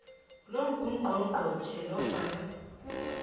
lo ngungqongqotjhe nofana